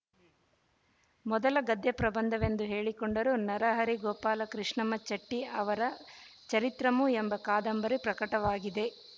ಮೊದಲ ಗದ್ಯ ಪ್ರಬಂಧವೆಂದು ಹೇಳಿಕೊಂಡರೂ ನರಹರಿ ಗೋಪಾಲಕೃಶ್ಣಮಚೆಟ್ಟಿ ಅವರ ಚರಿತ್ರಮು ಎಂಬ ಕಾದಂಬರಿ ಪ್ರಕಟವಾಗಿದೆ